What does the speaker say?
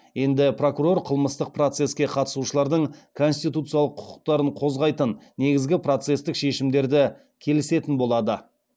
енді прокурор қылмыстық процеске қатысушылардың конституциялық құқықтарын қозғайтын негізгі процестік шешімдерді келісетін болады